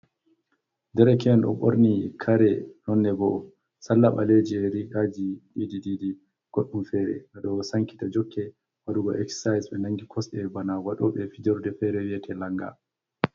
Dereke`en ɗo ɓorni kare nonne boo, salla ɓaleeji, rigaaji diidi-diidi, goɗɗum feere ɗo sankita jokke waɗugo eksaay, ɓe nanngi kosɗe bana waɗooɓe fijorde feere wiyete lannga.